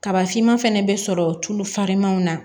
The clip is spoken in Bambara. Kaba finman fɛnɛ bɛ sɔrɔ tulu farimanw na